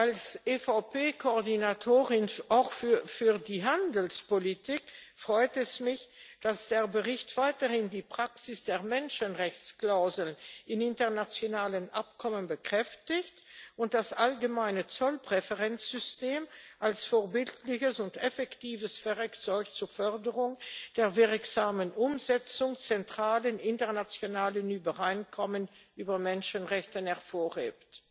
Als EVP Koordinatorin auch für die Handelspolitik freut es mich, dass der Bericht weiterhin die Praxis der Menschenrechtsklauseln in internationalen Abkommen bekräftigt und das allgemeine Zollpräferenzsystem als vorbildliches und effektives Werkzeug zur Förderung der wirksamen Umsetzung zentraler internationaler Übereinkommen über Menschenrechte hervorhebt.